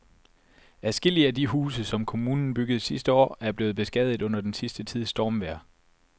Adskillige af de huse, som kommunen byggede sidste år, er blevet beskadiget under den sidste tids stormvejr.